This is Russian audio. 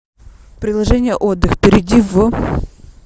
приложение отдых перейди в